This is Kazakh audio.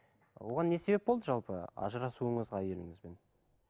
оған не себеп болды жалпы ажырасуыңызға әйеліңізбен